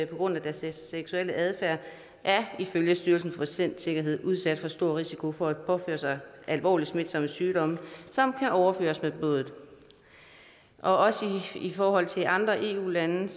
på grund af deres seksuelle adfærd ifølge styrelsen for patientsikkerhed er udsat for stor risiko for at påføre sig alvorlige smitsomme sygdomme som kan overføres med blodet også i forhold til andre eu lande